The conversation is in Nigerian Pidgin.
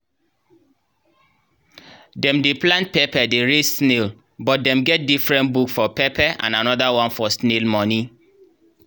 dem dey plant pepper dey raise snail but dem get different book for pepper and another one for snail money.